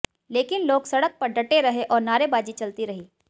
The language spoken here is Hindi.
लेकिन लोग सड़क पर डटे रहे और नारेबाजी चलती रही